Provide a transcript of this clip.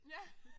Ja